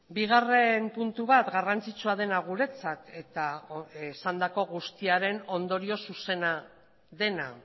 bigarren puntu bat garrantzitsua dena guretzat eta esandako guztiaren ondorio zuzena dena